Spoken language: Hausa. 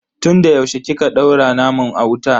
Tun da yaushe kika daura naman a wuta?